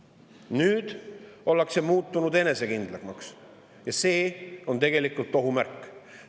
Nüüd ollakse muutunud enesekindlamaks ja see on tegelikult ohumärk.